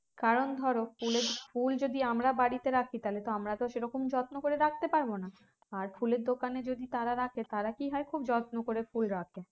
কারণ ধরো ফুলে~ ফুল যদি আমরা বাড়িতে রাখি তাহলে তো আমার সেরকম যত্ন করে রাখতে পারবো না আর ফুলের দোকানে যদি তারা রাখে তারা কি হয় খুব যত্ন করে ফুল রাখে